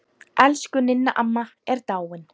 Elsku Ninna amma er dáin.